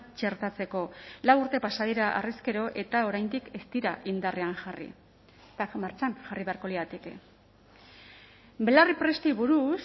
txertatzeko lau urte pasa dira harrezkero eta oraindik ez dira indarrean jarri martxan jarri beharko lirateke belarriprestei buruz